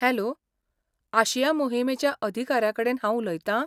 Hello! आशिया मोहिमेच्या अधिकाऱ्याकडेन हांव उलयतां?